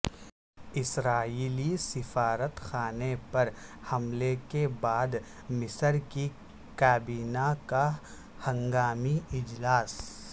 اسرائیلی سفارت خانے پر حملے کے بعد مصر کی کابینہ کا ہنگامی اجلاس